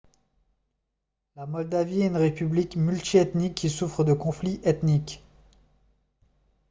la moldavie est une république multi-ethnique qui souffre de conflits ethniques